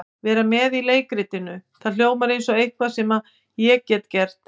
Vera með í leikritinu, það hljómar eins og eitthvað sem ég get gert.